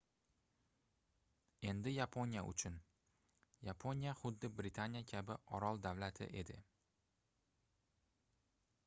endi yaponiya uchun yaponiya xuddi britaniya kabi orol-davlat edi